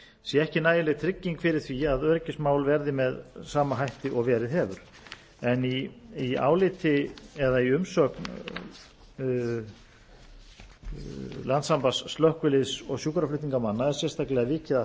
sé ekki nægileg trygging fyrir því að öryggismál verði með sama hætti og verið hefur í umsögn slökkviliðs og sjúkraflutningamanna er sérstaklega